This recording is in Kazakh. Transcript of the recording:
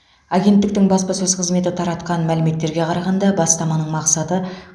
агенттіктің баспасөз қызметі таратқан мәліметтерге қарағанда бастаманың мақсаты